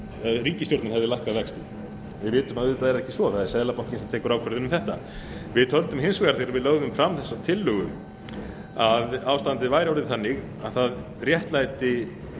hefði lækkað vexti við vitum að auðvitað er það ekki svo það er seðlabankinn sem tekur ákvörðun um þetta við töldum hins vegar þegar við lögðum fram þessa tillögu að ástandið væri orðið þannig að það réttlætti